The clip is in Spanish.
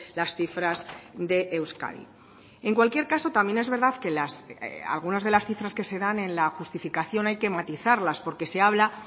las cifras de euskadi en cualquier caso también es verdad que algunas de las cifras que se dan en la justificación hay que matizarlas porque se habla